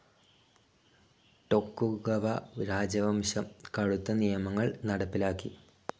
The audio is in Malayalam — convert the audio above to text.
ടൊകുഗവ രാജവംശം കടുത്ത് നിയമങ്ങൾ നടപ്പിലാക്കി.